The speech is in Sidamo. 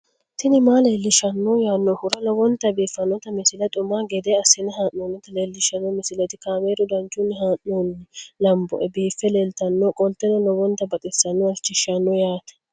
tini maa leelishshanno yaannohura lowonta biiffanota misile xuma gede assine haa'noonnita leellishshanno misileeti kaameru danchunni haa'noonni lamboe biiffe leeeltannoqolten lowonta baxissannoe halchishshanno yaate